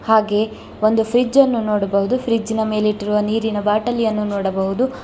ಹಾಗೆ ಒಂದು ಫ್ರಿಡ್ಜನ್ನು ನೋಡಬಹುದು ಫ್ರಿಡ್ಜಿನ ಮೇಲೆ ಇಟ್ಟಿರುವ ನೀರಿನ ಬಾಟಲಿಯನ್ನು ನೋಡಬಹುದು.